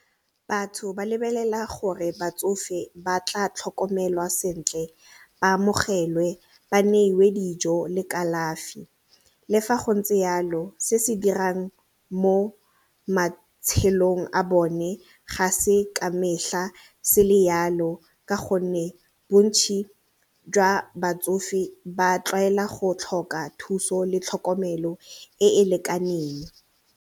Batho ba lebelela gore batsofe ba tla tlhokomelwa sentle ba amogelwe ba neiwe dijo le kalafi. Le fa go ntse yalo se se dirang mo matshelong a bone ga se ka metlha se le yalo ka gonne bontsi jwa batsofe ba tlwaela go tlhoka thuso le tlhokomelo e e lekaneng.